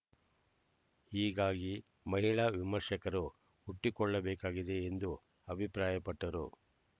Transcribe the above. ಹೀಗಾಗಿ ಮಹಿಳಾ ವಿಮರ್ಶಕರು ಹುಟ್ಟಿಕೊಳ್ಳಬೇಕಾಗಿದೆ ಎಂದು ಅಭಿಪ್ರಾಯಪಟ್ಟರು